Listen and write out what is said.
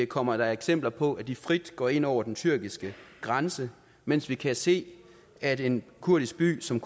kommer eksempler på at is frit går ind over den tyrkiske grænse mens vi kan se at en kurdisk by som